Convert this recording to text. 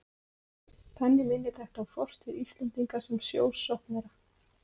Þannig minnir þetta á fortíð Íslendinga sem sjósóknara.